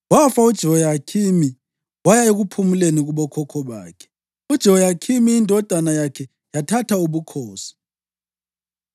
Wafa uJehoyakhimi waya ekuphumuleni kubokhokho bakhe. UJehoyakhini indodana yakhe yathatha ubukhosi.